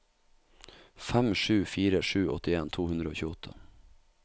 fem sju fire sju åttien to hundre og tjueåtte